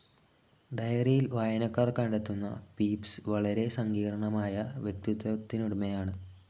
ഡയറിയിൽ വായനക്കാർ കണ്ടെത്തുന്ന പീപ്സ്‌ വളരെ സങ്കീർണമായ വ്യക്തിത്വത്തിനുടമയാണ്.